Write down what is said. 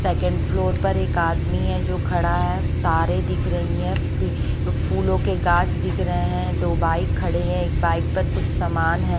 Second floor पर एक आदमी है जो खड़ा है तारे दिख रहीं हैं पे फूलों के गांच दिख रहें हैं दो बाइक खड़े हैं एक बाइक पर कुछ सामान हैं।